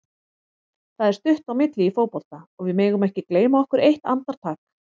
Það er stutt á milli í fótbolta og við megum ekki gleyma okkur eitt andartak.